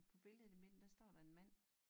På billedet i midten der står der en mand